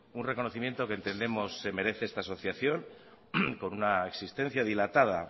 un reconocimiento que entendemos se merece esta asociación con una existencia dilatada